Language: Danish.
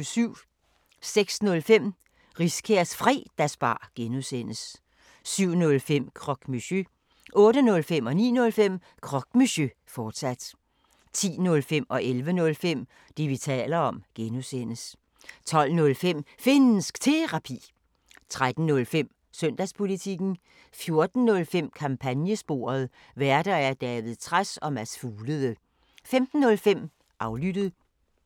06:05: Riskærs Fredagsbar (G) 07:05: Croque Monsieur 08:05: Croque Monsieur, fortsat 09:05: Croque Monsieur, fortsat 10:05: Det, vi taler om (G) 11:05: Det, vi taler om (G) 12:05: Finnsk Terapi 13:05: Søndagspolitikken 14:05: Kampagnesporet: Værter: David Trads og Mads Fuglede 15:05: Aflyttet